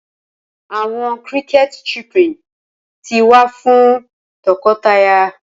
Awọn cricket chirping ti wa ni nwa fun tọkọtaya